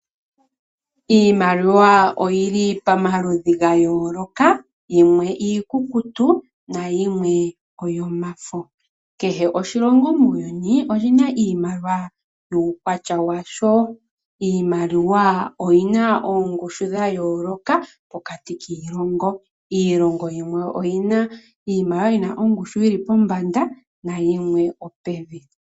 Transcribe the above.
Iimaliwa oyi li pamaludhi ga yooloka, yimwe iikukutu nayimwe oyomafo. Kehe oshilongo muuyuni oshi na iimaliwa yuukwatya washo. Iimaliwa oyi na oongushu dha yooloka pokati kiilongo. Iilongo yimwe oyi na iimaliwa yi na ongushu yi li pombanda nayimwe opevi.